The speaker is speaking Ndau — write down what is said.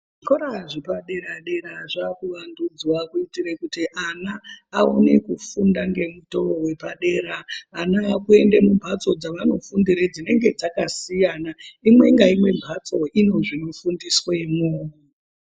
Zvikora zvepadera-dera zvakuwandudzwa kuitire kuti ana aone kufunda ngemutovo vepadera. Ana vakuende mumhatso dzavanofundire dzakasiyana imwe ngaimwe mhatso ine zvinofundiswemwo.